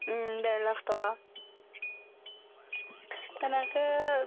উম দেৰ লাখ টকা। সেনেকে